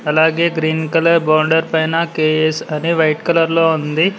అలాగే green colour boundary పైన K S అని వైట్ కలర్ లో ఉంది